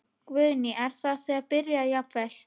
Guðný: Er það þegar byrjað jafnvel?